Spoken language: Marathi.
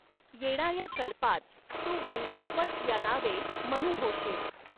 येणाऱ्या कल्पांत तू वैवस्वत या नावे मनू होशील